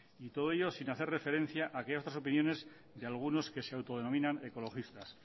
y todo ello sin hacer referencia a aquellas otras opiniones de algunos que se autodenominan ecologistas